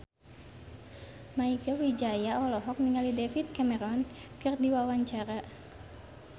Mieke Wijaya olohok ningali David Cameron keur diwawancara